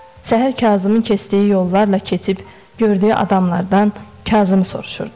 Səhər Kazımın keçdiyi yollarla keçib, gördüyü adamlardan Kazımı soruşurdu.